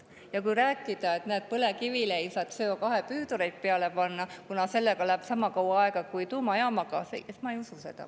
Ja kui rääkida, et näed, põlevkivi ei saa CO2 püüdureid peale panna, kuna sellega läheb sama kaua aega kui tuumajaamaga, siis ma ei usu seda.